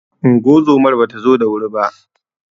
Ungozomar bata zo da wuri ba.